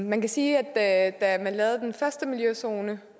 man kan sige at man da man lavede den første miljøzone